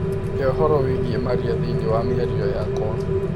He ũhoro wĩgiĩ maria thĩinĩ wa mĩarĩo yakwa